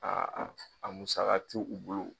Aa a musaka t'i u bolo.